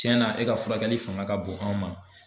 Tiyɛn na e ka furakɛli fanga ka bon an ma.